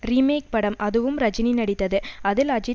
ரீ make படம் அதுவும் ரஜினி நடித்தது அஜித் அதில்